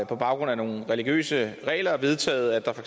på baggrund af nogle religiøse regler har vedtaget at der for